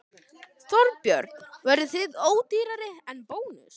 Þorbjörn: Verðið þið ódýrari en Bónus?